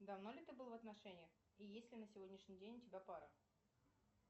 давно ли ты был в отношениях и есть ли на сегодняшний день у тебя пара